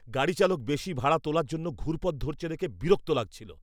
গাড়িচালক বেশি ভাড়া তোলার জন্য ঘুরপথ ধরছে দেখে বিরক্ত লাগছিল।